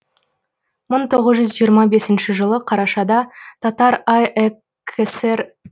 мың тоғыз жүз жиырма бесінші жылы қарашада татар акср